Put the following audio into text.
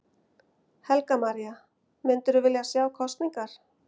Helga María: Myndirðu vilja sjá kosningar?